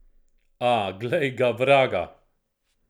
A, glej ga, vraga.